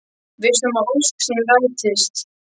Viss um að ósk sín rætist.